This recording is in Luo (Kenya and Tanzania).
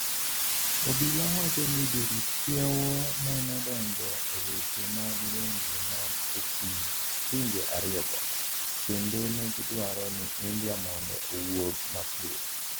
obila wacho ni jorit kiewo nenodonjo e weche mag lwenje man e kind pinje ariyogi ,kendo negidwaro ni India mondo owuog mapiyo.